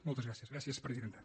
moltes gràcies gràcies presidenta